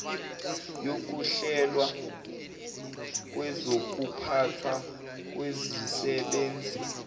yokuhlelwa kwezokuphathwa kwezisebenzi